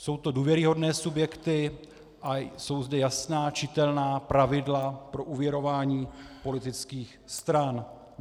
Jsou to důvěryhodné subjekty a jsou zde jasná, čitelná pravidla pro úvěrování politických stran.